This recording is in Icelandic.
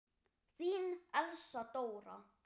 Þín, Elsa Dóra.